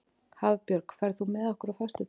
Hafbjörg, ferð þú með okkur á föstudaginn?